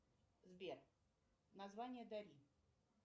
сбер название дали